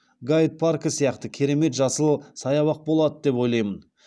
гайд паркі сияқты керемет жасыл саябақ болады деп ойлаймын